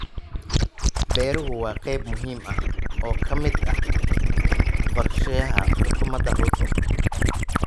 Beeruhu waa qayb muhiim ah oo ka mid ah qorshaha xukuumadda Ruto.